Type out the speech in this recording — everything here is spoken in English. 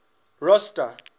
rosta